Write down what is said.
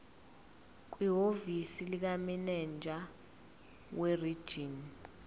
kwihhovisi likamininjela werijini